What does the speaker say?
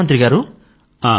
ప్రధాన మంత్రి గారూ